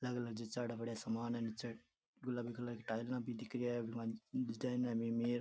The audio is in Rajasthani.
अलग अलग जचायेड़ा पड़ा सामान है निचे गुलाबी कलर की टाइल भी दिखरी है बिक माइन --